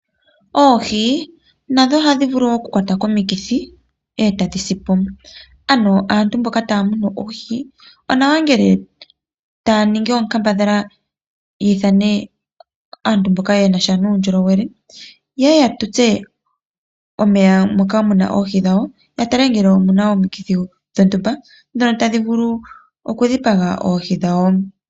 Oohi nadho ohadhi vulu woo oku kwatwa komikithi ,e ta dhi si po . Ano aantu mboka taya munu oohi, onawa ngele taya ningi oonkambadhala yiithane aantu mboka yeli muundjolowele, ye ye ya tutse omeya mpoka muna oohi dhawo, ya tale ngele omuna omukithi dhontumba dhono tadhi vulu oku dhipaga oohi dhawo.